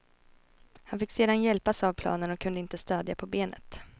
Han fick sedan hjälpas av planen och kunde inte stödja på benet.